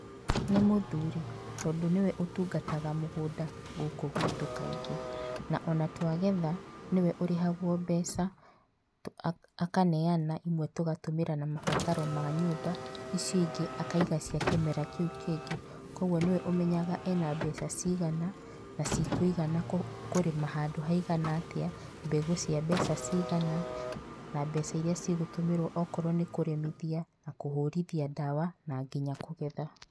Nĩ mũthuri tondũ nĩwe ũtungataga mũgũnda gũkũ gwitũ kaingĩ na ona twagetha ũrĩhagwo mbeca akaneana imwe tũgatũmĩra na mabataro ma nyũmba icio cingĩ tũkaiga cia kĩmera kĩu kĩngĩ ,kwoguo nĩwe ũmenyaga ena mbeca cigana na cikũigana kũrĩma handũ haigana atĩa mbegũ cia mbeca cigana na mbeca iria cigũtũmĩrwo wakorwa nĩkũrĩmithia, kũhũrithia ndawa na nginya kũgetha.